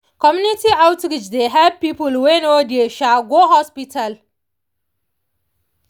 community outreach dey help people wey no dey um go hospital.